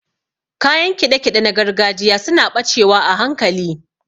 Kayan kiɗe-kiɗe na gargajiya suna ɓacewa a hankali.